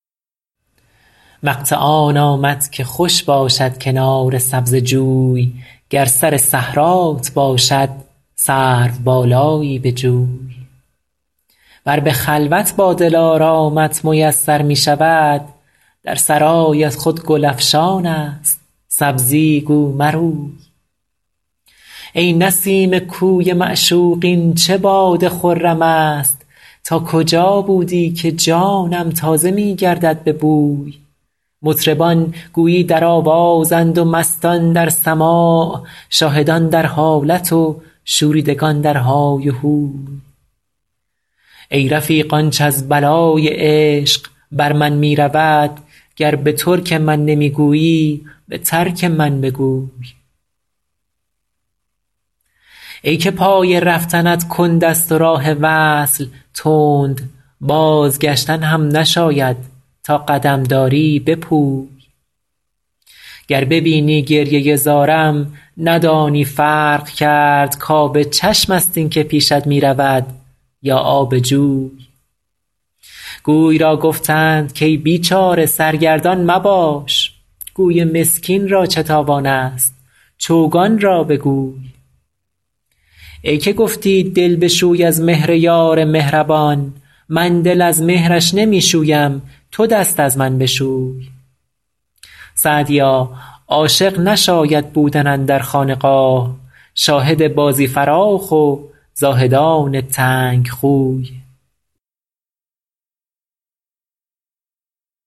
وقت آن آمد که خوش باشد کنار سبزه جوی گر سر صحرات باشد سروبالایی بجوی ور به خلوت با دلارامت میسر می شود در سرایت خود گل افشان است سبزی گو مروی ای نسیم کوی معشوق این چه باد خرم است تا کجا بودی که جانم تازه می گردد به بوی مطربان گویی در آوازند و مستان در سماع شاهدان در حالت و شوریدگان در های و هوی ای رفیق آنچ از بلای عشق بر من می رود گر به ترک من نمی گویی به ترک من بگوی ای که پای رفتنت کند است و راه وصل تند بازگشتن هم نشاید تا قدم داری بپوی گر ببینی گریه زارم ندانی فرق کرد کآب چشم است این که پیشت می رود یا آب جوی گوی را گفتند کای بیچاره سرگردان مباش گوی مسکین را چه تاوان است چوگان را بگوی ای که گفتی دل بشوی از مهر یار مهربان من دل از مهرش نمی شویم تو دست از من بشوی سعدیا عاشق نشاید بودن اندر خانقاه شاهد بازی فراخ و زاهدان تنگ خوی